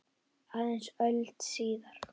Aðeins öld síðar.